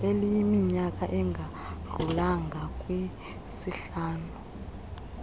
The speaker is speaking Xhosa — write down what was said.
eliyiminyaka engadlulanga kwisihlanu